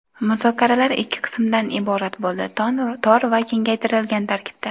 Muzokaralar ikki qismdan iborat bo‘ldi: tor va kengaytirilgan tarkibda.